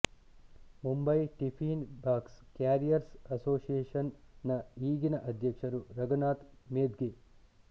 Mumbai tiffin box carriers association ನ ಈಗಿನ ಅಧ್ಯಕ್ಷರು ರಘುನಾಥ್ ಮೆದ್ಗೆ